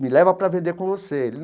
me leva para vender com você.